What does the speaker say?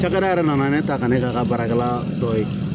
Cakɛda yɛrɛ nana ne ta kan ne k'a ka baarakɛla dɔ ye